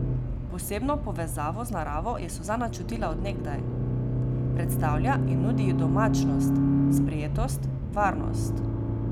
Posebno povezavo z naravo je Suzana čutila od nekdaj, predstavlja in nudi ji domačnost, sprejetost, varnost.